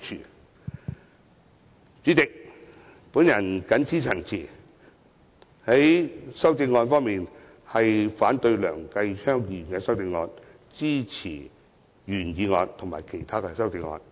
代理主席，我謹此陳辭，反對梁繼昌議員的修正案，並支持原議案及其他修正案。